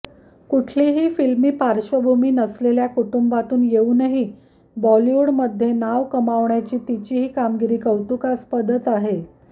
कुठलीही फिल्मी पार्श्वभूमी नसलेल्या कुटुंबातून येऊनही बॉलिवुडमध्ये नाव कमावण्याची तिची ही कामगिरी कौतुकास्पदच आहे